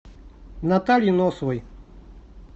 наталье носовой